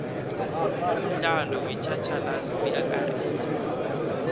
umdlalo wetjhatjhalazi uyakarisa